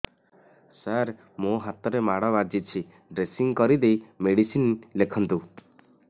ସାର ମୋ ହାତରେ ମାଡ଼ ବାଜିଛି ଡ୍ରେସିଂ କରିଦେଇ ମେଡିସିନ ଲେଖନ୍ତୁ